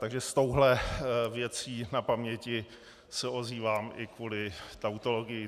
Takže s touhle věcí na paměti se ozývám i kvůli tautologii.